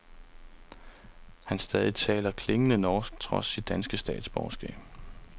Han stadig taler klingende norsk, trods sit danske statsborgerskab.